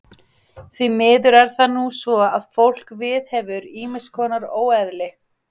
Því miður er það nú svo að fólk viðhefur ýmiss konar óeðli.